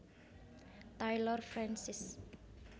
Taylor Francis